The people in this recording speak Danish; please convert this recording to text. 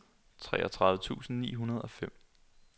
treogtredive tusind ni hundrede og fem